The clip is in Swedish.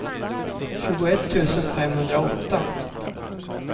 tjugoett tusen femhundraåtta